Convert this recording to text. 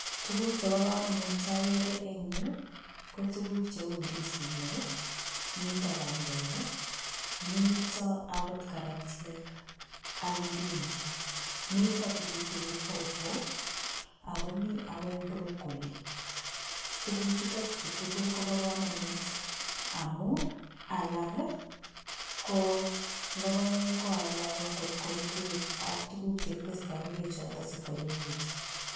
Tukuk Cheba kamanut chagere en yu ko tuguk cheu ndisinik miten bandek niton akot karat AK indimu miten pilipili hoho akomiten akoi brokoli tuguk chuton chutugul chuton Koba kamanut amun alak ko logoek ko alak kotko ingwek AK tuguk chekostoi ingwek sikwanyinyikitun